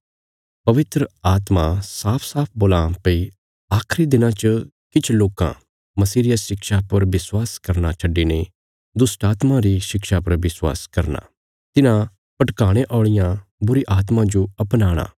पवित्र आत्मा साफसाफ बोलां भई आखिरी दिनां च किछ लोकां मसीह रिया शिक्षा पर विश्वास करना छड्डिने दुष्टात्मां री शिक्षा पर विश्वास करना तिन्हां भटकाणे औलियां बुरीआत्मां जो अपनाणा